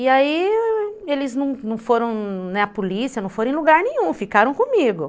E aí eles não não foram, né, a polícia, não foram em lugar nenhum, ficaram comigo.